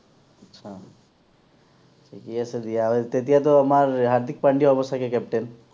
আচ্ছা, ঠিকেই আছে দিয়া তেতিয়াতো আমাৰ হাৰ্দিক পাণ্ডিয়া হব চাগে captain